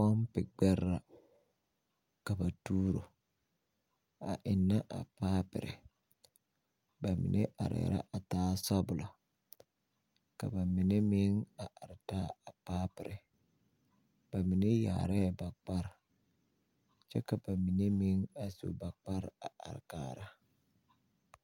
Pompi gbɛre la. Ka ba tuoro. A eŋne a paapire. Ba mene areɛ la a taa sobulɔ. Ka ba mene meŋ are taa a paapire. Ba mene yaareɛ ba kpar kyɛ ka ba mene meŋ a su ba kpar a are kaara